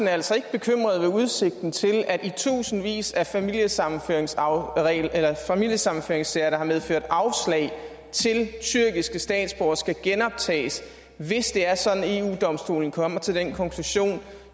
er altså ikke bekymret ved udsigten til at i tusindvis af familiesammenføringssager af familiesammenføringssager der har medført afslag til tyrkiske statsborgere skal genoptages hvis det er sådan at eu domstolen kommer til den konklusion